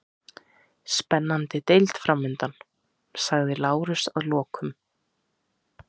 Spennandi deild framundan, sagði Lárus að lokum.